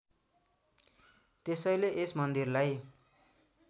त्यसैले यस मन्दिरलाई